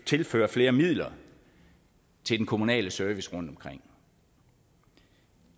tilføre flere midler til den kommunale service rundtomkring